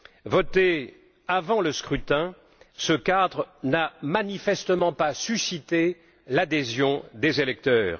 Voté avant le scrutin, ce cadre n'a manifestement pas suscité l'adhésion des électeurs.